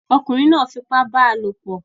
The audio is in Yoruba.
ọkunrin náà fi ipá bá a lòpọ̀